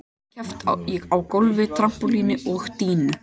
Þar er keppt á gólfi, trampólíni og dýnu.